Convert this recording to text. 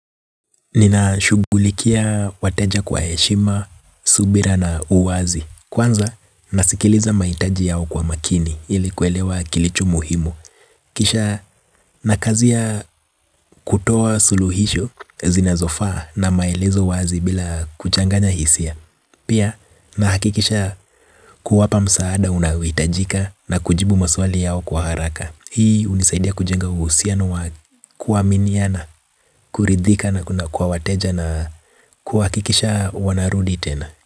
Nina shughulikia wateja kwa heshima, subira na uwazi. Kwanza nasikiliza mahitaji yao kwa makini ilikuelewa kilicho muhimu. Kisha nakazia kutoa suluhisho zinazofaa na maelezo wazi bila kuchanganya hisia. Pia nahakikisha kuwapa msaada unaohitajika na kujibu maswali yao kwa haraka. Hii hunisaidia kujenga uhusianowa kua miniana, kuridhika na kwa wateja na kuha kikisha wanarudi tena.